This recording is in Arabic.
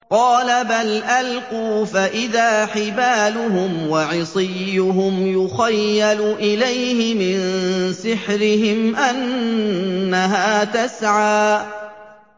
قَالَ بَلْ أَلْقُوا ۖ فَإِذَا حِبَالُهُمْ وَعِصِيُّهُمْ يُخَيَّلُ إِلَيْهِ مِن سِحْرِهِمْ أَنَّهَا تَسْعَىٰ